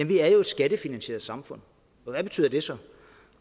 vi er et skattefinansieret samfund hvad betyder det så